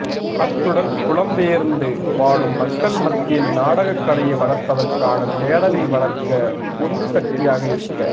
அத்துடன் புலம்பெயர்ந்து வாழும் மக்கள் மத்தியில் நாடகக் கலையை வளர்ப்பதற்கான தேடலை வளர்க்க உந்து சக்தியாக இருக்க